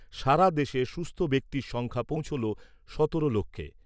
সারা দেশে সুস্থ ব্যক্তির সংখ্যা পৌঁছলো সতেরো লক্ষে।